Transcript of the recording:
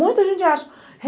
Muita gente acha.